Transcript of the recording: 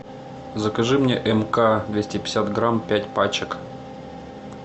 закажи мне мк двести пятьдесят грамм пять пачек